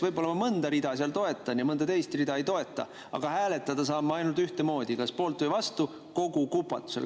Võib-olla ma mõnda rida seal toetan ja mõnda teist rida ei toeta, aga hääletada saan ainult ühtemoodi, kas kogu kupatuse poolt või vastu.